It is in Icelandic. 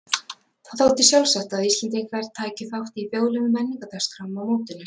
Það þótti sjálfsagt að Íslendingar tækju þátt í þjóðlegum menningardagskrám á mótinu.